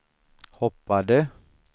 hoppade